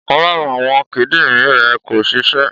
Ọ̀kan lára àwọn kídìrín rẹ̀ kò ṣiṣẹ́.